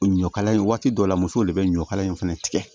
O ɲɔkala in waati dɔ la musow de bɛ ɲɔkala in fana tigɛ